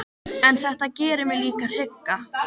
En þetta gerir mig líka hrygga.